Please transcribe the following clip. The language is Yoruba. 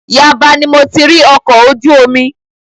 Yaba ni mo ti rí ọkọ̀ ojú omi.